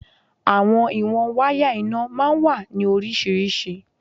Àwọn ìwọ̀n wáyà iná máa ń wà ní oríṣiríṣi.